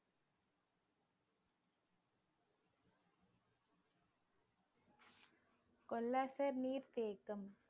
கொல்லாசர் நீர்த்தேக்கம்